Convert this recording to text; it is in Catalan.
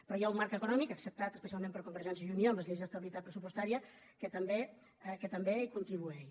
però hi ha un marc econòmic acceptat especialment per convergència i unió amb les lleis d’estabilitat pressupostària que també hi contribueix